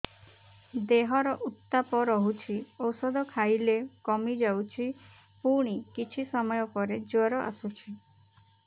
ଦେହର ଉତ୍ତାପ ରହୁଛି ଔଷଧ ଖାଇଲେ କମିଯାଉଛି ପୁଣି କିଛି ସମୟ ପରେ ଜ୍ୱର ଆସୁଛି